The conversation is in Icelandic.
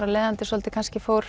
af leiðandi svolítið kannski fór